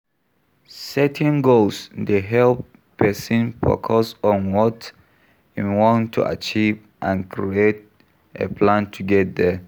Setting goals dey help pesin focus on what im want to achieve and create a plan to get there.